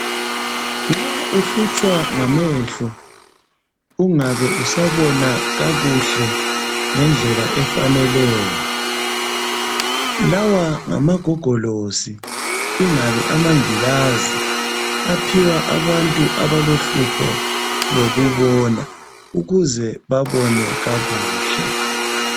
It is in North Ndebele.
Nxa uhlutshwa ngamehlo ungabe usabona kakuhle ngendlela efaneleyo lawa ngamagogolosi ingabe amangilazi aphiwa abantu abalohlupho lokubona ukuze babone kakuhle.